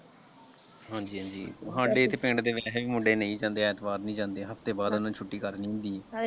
ਹਾਂਜ਼ੀ ਹਾਂਜੀ ਹਾਡੇ ਇੱਥੇ ਪਿੰਡ ਦੇ ਵਿੱਚ ਕਈ ਮੁੰਡੇ ਮਿਲ ਜਾਂਦੇ ਐਤਵਾਰ ਨਹੀਂ ਜਾਂਦੇ ਹਫਤੇ ਬਾਅਦ ਉਹਨਾਂ ਨੇ ਛੁੱਟੀ ਕਰਨੀ ਹੁੰਦੀ ਹੈ।